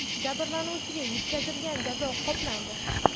Jabrlanuvchiga yetkazilgan jazo qoplandi.